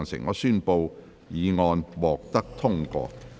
我宣布議案獲得通過。